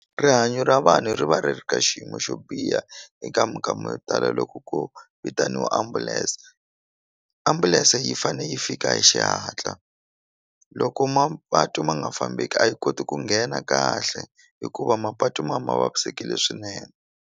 Rihanyo ra vanhu ri va ri ri ka xiyimo xo biha eka minkama yo tala loko ku vitaniwa ambulense ambulense yi fane yi fika hi xihatla loko mapatu ma nga fambeki a yi koti ku nghena kahle hikuva mapatu ma ma vavisekile swinene.